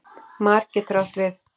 Mar getur átt við